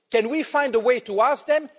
Can we find a way to ask them?